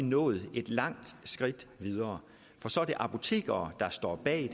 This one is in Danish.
nået et langt skridt videre for så er det apotekere der står bag